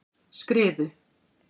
Skriðu